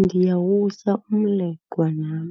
Ndiyawutya umleqwa nam,